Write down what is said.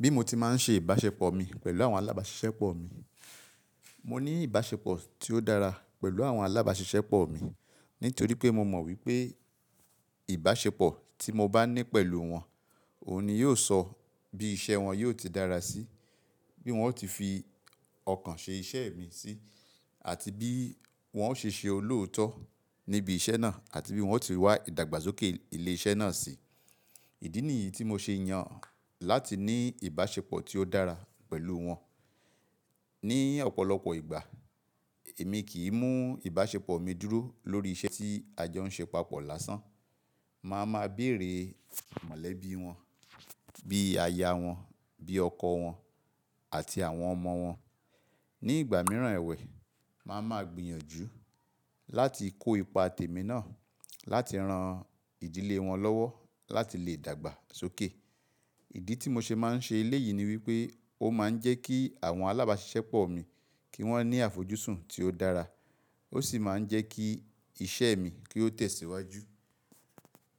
Bí mo ti máa ń ṣe ìbáṣepọ̀ mi pẹ̀lú àwọn alábáṣiṣẹ́pọ̀ mi. Mo ní ìbáṣepọ̀ tí ó dára pẹ̀lú àwọn alábáṣiṣẹ́pọ̀ mi nítorí pé mo mọ̀ wípé ìbáṣepọ̀ tí mo bá ní pẹ̀lú wọn, òun ni yóò sọ bí iṣẹ́ wọn yóò ti dára sí i, bí wọn ó ti fi ọkàn ṣe iṣẹ́ mi sí àti bí wọn ó ṣe ṣe olóòótọ́ níbi iṣẹ́ náà àti bí wọn ó ti rí wá ìdàgbàsókè ilé iṣẹ́ náà sí i. Ìdí nìyí tí mo ṣe yàn láti ní ìbáṣepọ̀ tí ó dára pẹ̀lú wọn. Ni ọ̀pọ̀lọpọ̀ ìgbà, èmi kì í mú ìbáṣepọ̀ mi dúró lórí iṣẹ́ tí a jọ ń ṣe papọ̀ lásán. Máa ma béèrè mọ̀lẹ́bí wọn, bí aya wọn, bí ọkọ wọn àti àwọn ọmọ wọn. Ni ìgbà mìíràn ẹ̀wẹ̀, màá ma gbìyànjú láti kó ipa tèmi náà láti ran ìdílé wọn lọ́wọ́ láti lè dàgbà sókè. Ìdí tí mo ṣe máa ń ṣe eléyìí ni wípé ó máa ń jẹ́ kí àwọn alábáṣiṣẹ́pọ̀ mi kí wón ní àfojúsùn tí ó dára, ó sì máa ń jẹ́ kí iṣẹ́ mi kí ó tẹ̀síwájú.